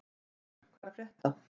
Sigmar, hvað er að frétta?